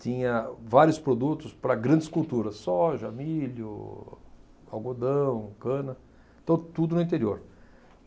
tinha vários produtos para grandes culturas, soja, milho, algodão, cana, to tudo no interior.